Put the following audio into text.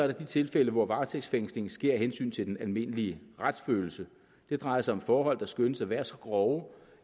der de tilfælde hvor varetægtsfængslingen sker af hensyn til den almindelige retsfølelse det drejer sig om forhold der skønnes at være så grove